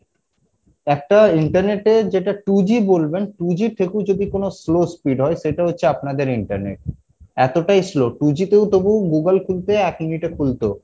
একটা internet এ যেটা two G বলবেন two G এর থেকেও যদি কোনো slow speed হয় সেটা হচ্ছে আপনাদের internet এতোটাই slow two G তেও তবু Google খুলতে এক minute এ খুলতো